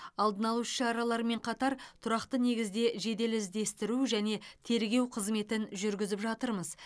алдын алу іс шараларымен қатар тұрақты негізде жедел іздестіру және тергеу қызметін жүргізіп жатырмыз